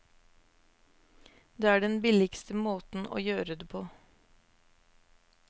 Det er den billigste måten å gjøre det på.